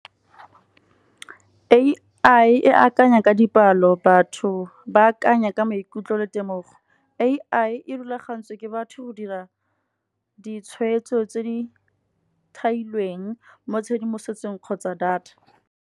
A_I e akanya ka dipalo, batho ba akanya ka maikutlo le temogo. A_I e rulagantswe ke batho go dira ditshwetso tse di thailweng mo tshedimosetsong kgotsa data.